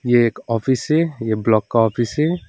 ये एक ऑफिस है ये ब्लॉक का ऑफिस है।